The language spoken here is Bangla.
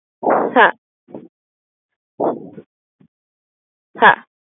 হ্যাঁ হ্যাঁ